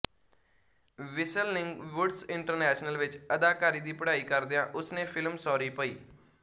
Whistling Woods International ਵਿੱਚ ਅਦਾਕਾਰੀ ਦੀ ਪੜ੍ਹਾਈ ਕਰਦਿਆਂ ਉਸ ਨੇ ਫਿਲਮ ਸੌਰੀ ਭਈ